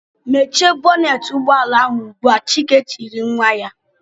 "Mechie bọnetị ụgbọala ahụ ugbu a!" Chike tiri nwa ya.